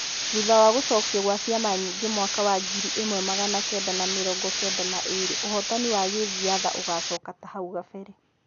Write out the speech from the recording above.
Thutha wa gũcokio gwa-ciama nyingĩ mwaka wa ngiri ĩmwe magana kenda na mirongo kenda na-ĩrĩ ũhotani wa gĩthiatha ũgacoka tahau kabere.